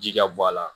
Ji ka bɔ a la